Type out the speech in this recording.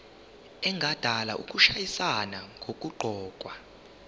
engadala ukushayisana nokuqokwa